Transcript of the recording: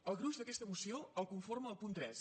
el gruix d’aquesta moció el conforma el punt tres